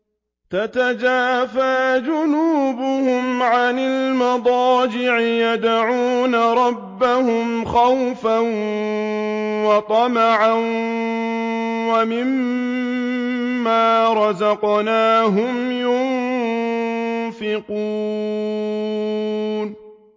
تَتَجَافَىٰ جُنُوبُهُمْ عَنِ الْمَضَاجِعِ يَدْعُونَ رَبَّهُمْ خَوْفًا وَطَمَعًا وَمِمَّا رَزَقْنَاهُمْ يُنفِقُونَ